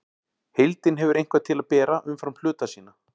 Heildin hefur eitthvað til að bera umfram hluta sína.